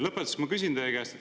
Lõpetuseks ma küsin teie käest.